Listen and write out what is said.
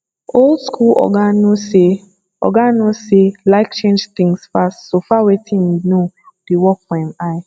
old school oga no sey oga no sey like change things fast so far wetin im know dey work for im eye